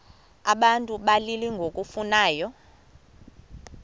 abantu abalili ngokufanayo